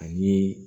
Ani